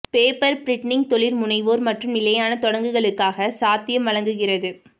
paper printing தொழில் முனைவோர் மற்றும் நிலையான தொடங்குகளுக்காக சாத்தியம் வழங்குகிறது